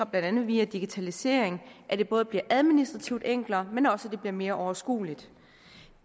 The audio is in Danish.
blandt andet via digitalisering at det både bliver administrativt enklere men også mere overskueligt